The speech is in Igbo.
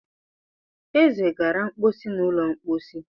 Eze gara mposi n'ụlọ mposi.